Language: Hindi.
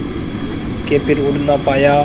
के फिर उड़ ना पाया